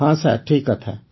ହଁ ସାର୍ ଠିକ୍ କଥା